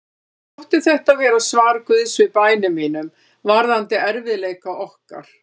Mér þótti þetta vera svar Guðs við bænum mínum varðandi erfiðleika okkar.